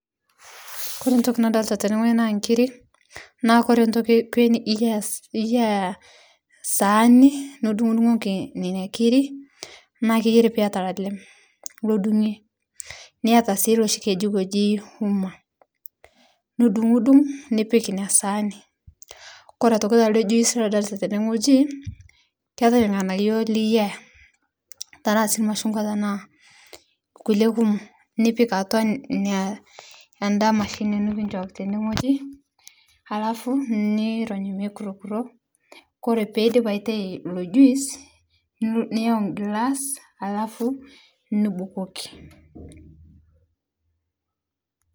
Kore ntoki nadolita tene naa nkiri naa kore ntoki ekwee iyas iyaa sahani nidung'dung'oki nenia kirii naa keyari piata lalem lodungie niata sii loshi kejiko ejii uma nidungdung nipik inia sahani kore otoki taldee juice ladolitaa tene ng'oji keatai lgnanayo liyaa tanaa sii lmachungwa tanaa lkulie kumoo nipik atua inia anda mashini nikinshoki tende ng'oji alafu nirony meikurkuro kore peidip aitai ilo juice niyau nglaas alafu nibukokii.